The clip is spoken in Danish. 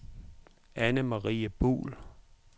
Annemarie Buhl